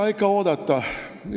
No mida oodata?